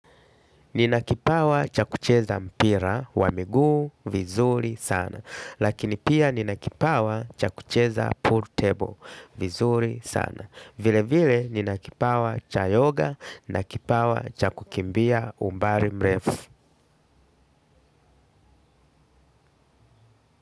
Ninakipawa chakucheza mpira, wa miguu vizuri sana. Lakini pia ninakipawa chakucheza pool table vizuri sana. Vile vile ninakipawa cha yoga na kipawa cha kukimbia umbari mrefu.